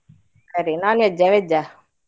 ಅದೇ non-veg ಆ veg ಆ?